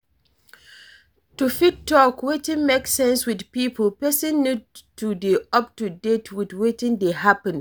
To fit talk wetin make sense with pipo, person need to dey up to date with wetin dey happen